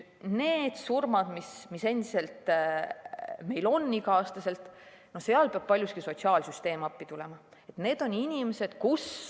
Nende surmade puhul, mis meil endiselt iga aasta on, peab paljuski sotsiaalsüsteem appi tulema.